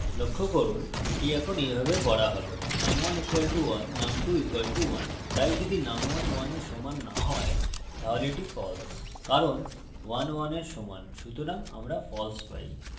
লক্ষ্য করুন এটি এখন এইভাবে পড়া হবে num1 = 1 num2 = 1 তাই যদি num11 এর সমান note হয় তাহলে এটি false কারণ 11 এর সমান সুতরাং আমরা false পাই